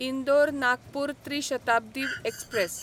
इंदोर नागपूर त्री शताब्दी एक्सप्रॅस